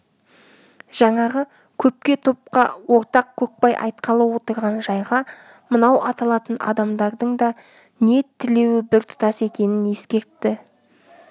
жаңағы көпке топқа ортақ көкбай айтқалы отырған жайға мынау аталатын адамдардың да ниет тілеуі біртұтас екенін ескертті